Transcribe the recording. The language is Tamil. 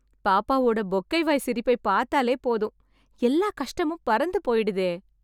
பாப்பாவோட பொக்கை வாய்ச்சிரிப்பை பார்த்தாலே போதும், எல்லா கஷ்டமும் பறந்து போய்டுதே...